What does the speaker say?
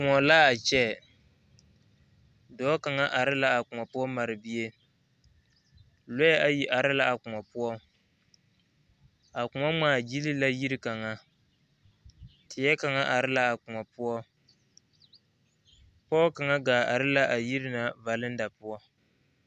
Kõɔ la a kyɛ, dɔɔ kaŋa are la a kõɔ poɔ mare bie lɔɛ ayi are la a kõɔ poɔ a kõɔ ŋmaa gyili la yiri kaŋa teɛ kaŋa are la a kõɔ poɔ pɔge kaŋa gaa are la a yiri na valenda poɔ.